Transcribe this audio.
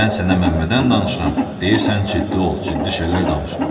Mən sənə Məmmədən danışıram, deyirsən ciddi ol, ciddi şeylər danış.